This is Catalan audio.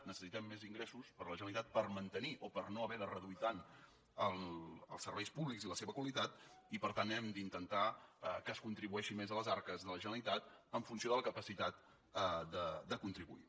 necessitem més ingressos per a la generalitat per mantenir o per no haver de reduir tant els serveis públics i la seva qualitat i per tant hem d’intentar que es contribueixi més a les arques de la generalitat en funció de la capacitat de contribuir